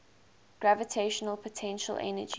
gravitational potential energy